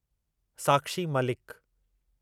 Sakshi Malik